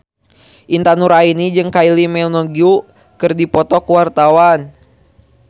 Intan Nuraini jeung Kylie Minogue keur dipoto ku wartawan